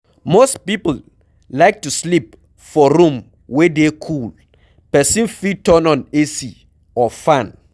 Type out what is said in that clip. Most people like to sleep for room wey dey cool, person fit turn on AC or fan